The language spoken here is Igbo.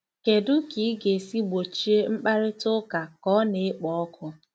Kedu ka ị ga-esi gbochie mkparịta ụka ka ọ na-ekpo ọkụ?